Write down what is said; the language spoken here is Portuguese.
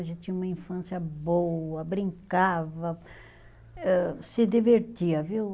A gente tinha uma infância boa, brincava, âh, se divertia, viu?